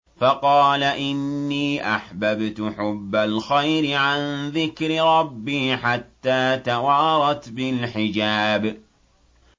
فَقَالَ إِنِّي أَحْبَبْتُ حُبَّ الْخَيْرِ عَن ذِكْرِ رَبِّي حَتَّىٰ تَوَارَتْ بِالْحِجَابِ